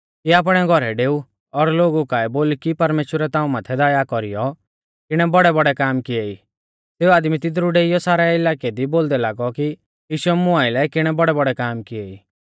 कि आपणै घौरै डेऊ और लोगु काऐ बोल कि परमेश्‍वरै ताऊं माथै दया कौरीयौ किणै बौड़ैबौड़ै काम किऐ ई सेऊ आदमी तिदरु डेइयौ सारै इलाकै दी बोलदै लागौ कि यीशुऐ मुं आइलै किणै बौड़ैबौड़ै काम किएई